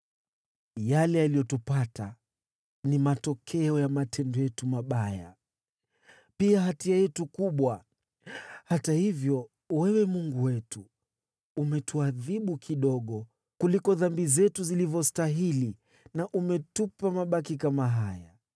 “Yale yaliyotupata ni matokeo ya matendo yetu mabaya, pia hatia yetu kubwa. Hata hivyo, wewe Mungu wetu, umetuadhibu kidogo kuliko dhambi zetu zilivyostahili na umetupa mabaki kama haya.